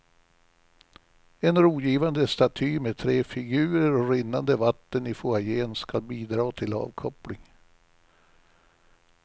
En rogivande staty med tre figurer och rinnande vatten i foajén skall bidra till avkoppling.